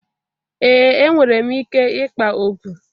Ee enwere m ike ịkpa okpu